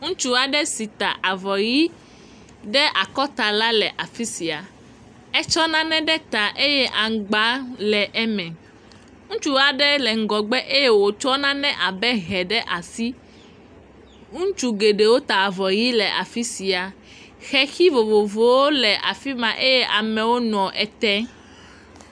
Ŋutsu si ta avɔ ʋɛ̃ ɖe akɔta la le afi sia, etsɔ nane ɖe ta eye aŋgba le eme, ŋutsu aɖe le ŋgɔgbe eye wòtsɔ nane abe hɛ ɖe asi, ŋutsu geɖewo ta avɔ yɛ̃ le afi sia, xexi vovovowo le afi ma eye amewo nɔ ete.